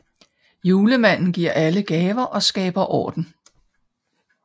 Julemanden giver alle gaver og skaber orden